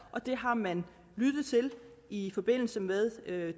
og det har man lyttet til i forbindelse med